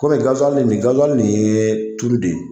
Kɔmi nin ye tulu de ye